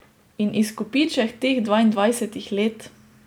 In izkupiček teh dvaindvajsetih let?